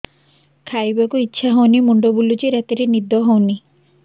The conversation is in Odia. ଖାଇବାକୁ ଇଛା ହଉନି ମୁଣ୍ଡ ବୁଲୁଚି ରାତିରେ ନିଦ ହଉନି